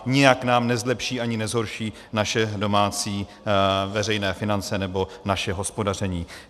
Nijak nám nezlepší ani nezhorší naše domácí veřejné finance nebo naše hospodaření.